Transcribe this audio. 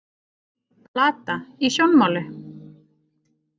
Plata í sjónmáli